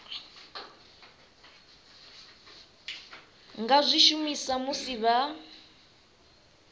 nga zwi shumisa musi vha